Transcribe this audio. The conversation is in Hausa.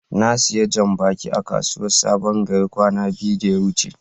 na siya jam-baki a kasuwan sabon gari kwana biyu da ya wuce.